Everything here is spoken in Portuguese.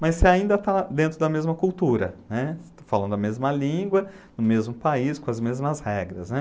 Mas você ainda está dentro da mesma cultura, né, você está falando a mesma língua, no mesmo país, com as mesmas regras, né.